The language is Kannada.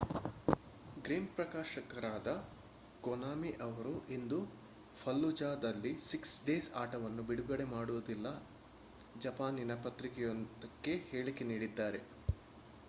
ಗೇಮ್ ಪ್ರಕಾಶಕರಾದ ಕೊನಾಮಿ ಅವರು ಇಂದು ಫಲ್ಲುಜಾದಲ್ಲಿ ಸಿಕ್ಸ್ ಡೇಸ್ ಆಟವನ್ನು ಬಿಡುಗಡೆ ಮಾಡುವುದಿಲ್ಲ ಜಪಾನಿನ ಪತ್ರಿಕೆಯೊಂದಕ್ಕೆ ಹೇಳಿಕೆ ನೀಡಿದ್ದಾರೆ